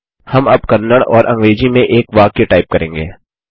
हम अब कन्नड़ और अंग्रेजी में एक वाक्य टाइप करेंगे